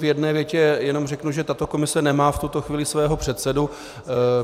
V jedné větě jenom řeknu, že tato komise nemá v tuto chvíli svého předsedu.